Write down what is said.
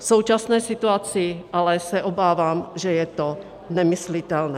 V současné situace ale se obávám, že je to nemyslitelné.